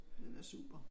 Det da super